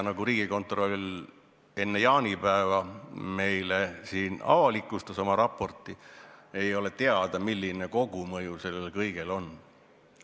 Nagu Riigikontroll enne jaanipäeva meile siin oma raporti avalikustas, ei ole teada, milline kogumõju sellel kõigel on.